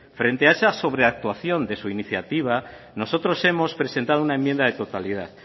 frente a esas sobreactuación de su iniciativa nosotros hemos presentado una enmienda de totalidad